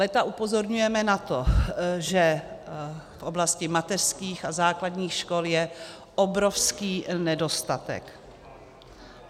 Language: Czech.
Léta upozorňujeme na to, že v oblasti mateřských a základních škol je obrovský nedostatek.